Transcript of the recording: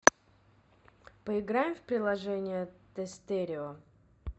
поиграем в приложение тестерио